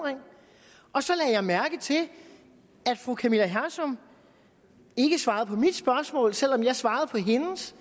og så lagde jeg mærke til at fru camilla hersom ikke svarede på mit spørgsmål selv om jeg svarede på hendes